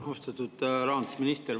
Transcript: Austatud rahandusminister!